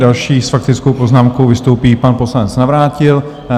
Další s faktickou poznámkou vystoupí pan poslanec Navrátil.